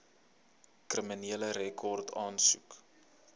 kriminele rekord aansoek